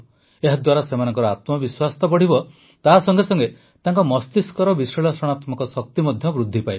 ଏହାଦ୍ୱାରା ସେମାନଙ୍କ ଆତ୍ମବିଶ୍ୱାସ ତ ବଢ଼ିବ ତା ସଙ୍ଗେ ସଙ୍ଗେ ତାଙ୍କ ମସ୍ତିଷ୍କର ବିଶ୍ଳେଷଣାତ୍ମକ ଶକ୍ତି ମଧ୍ୟ ବୃଦ୍ଧି ପାଇବ